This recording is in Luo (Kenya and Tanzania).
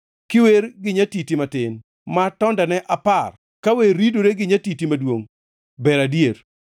kiwer gi nyatiti matin ma tondene apar ka wer ridore gi nyatiti maduongʼ ber adier.